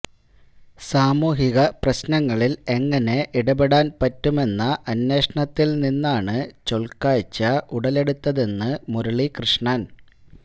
സാമൂഹിക പ്രശ്നങ്ങളിൽ എങ്ങിനെ ഇടപെടാൻ പറ്റുമെന്ന അന്വേഷണത്തിൽ നിന്നാണ് ചൊൽക്കാഴ്ച ഉടലെടുത്തതെന്ന് മുരളീകൃഷ്ണൻ